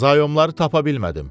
Zayomları tapa bilmədim.